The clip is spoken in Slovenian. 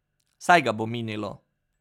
Saj ga bo minilo ...